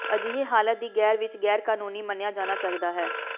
ਅਜਿਹੇ ਹਾਲਾਤ ਦੀ ਗੈਰ ਵਿੱਚ ਗੈਰ ਕਾਨੂੰਨੀ ਮੰਨਿਆ ਜਾਣਾ ਚਾਹੀਦਾ ਹੈ